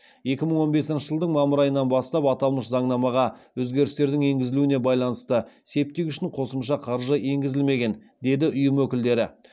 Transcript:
екі мың он бесінші жылдың мамыр айынан бастап аталмыш заңнамаға өзгерістердің енгізілуіне байланысты септик үшін қосымша қаржы енгізілмеген деді ұйым өкілдері